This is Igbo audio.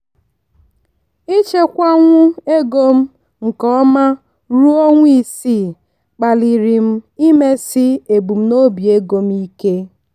ịchekwanwu ego m nke ọma ruo ọnwa isii kpaliri m imesi ebumnobi ego m ike.